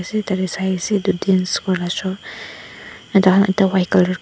tatae saiase edu dance kuraela sho white colour --